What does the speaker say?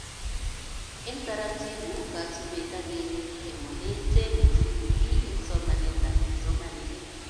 Eng taratibu kasubet ak keret eng ole tenyee TPD eng somanetab kipsomanink